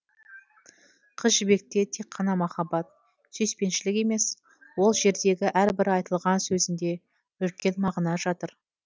қыз жібекте тек қана махаббат сүйіспеншілік емес ол жердегі әрбір айтылған сөзінде үлкен мағына жатыр